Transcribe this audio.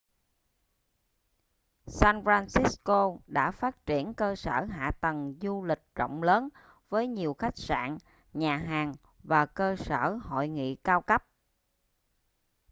san francisco đã phát triển cơ sở hạ tầng du lịch rộng lớn với nhiều khách sạn nhà hàng và cơ sở hội nghị cao cấp